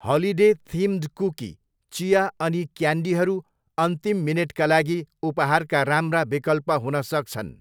Holiday themed cookie, चिया अनि क्यान्डीहरू अन्तिम मिनेटका लागि उपहारका राम्रा विकल्प हुन सक्छन्।